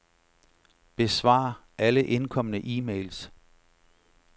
Besvar alle indkomne e-mails.